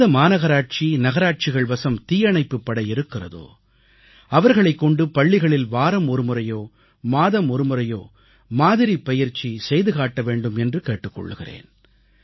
எந்த மாநகராட்சி நகராட்சிகள் வசம் தீயணைப்புப் படை இருக்கிறதோ அவர்களைக் கொண்டு பள்ளிகளில் வாரம் ஒருமுறையோ மாதம் ஒருமுறையோ மாதிரிப் பயிற்சி செய்து காட்டவேண்டும் என்று கேட்டுக் கொள்கிறேன்